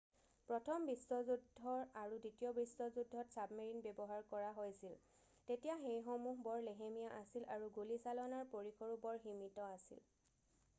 প্ৰথম বিশ্বযুদ্ধৰ আৰু দ্বিতীয় বিশ্বযুদ্ধত ছাবমেৰিনৰ ব্যৱহাৰ কৰা হৈছিল তেতিয়া সেইসমূহ্হ বৰ লেহেমীয়া আছিল আৰু গুলীচালনাৰ পৰিসৰো বৰ সীমিত আছিল